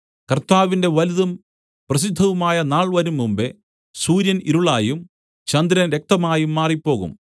കർത്താവിന്റെ വലുതും പ്രസിദ്ധവുമായ നാൾ വരുംമുമ്പെ സൂര്യൻ ഇരുളായും ചന്ദ്രൻ രക്തമായും മാറിപ്പോകും